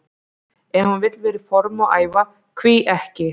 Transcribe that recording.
Ef hann vill vera í formi og æfa, hví ekki?